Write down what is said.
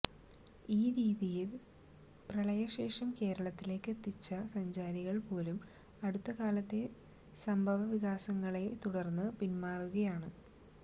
ഈ രീതിയിൽ പ്രളയശേഷം കേരളത്തിലേക്ക് എത്തിച്ച സഞ്ചാരികൾ പോലും അടുത്തകാലത്തെ സംഭവവികാസങ്ങളെ തുടർന്ന് പിന്മാറുകയാണ്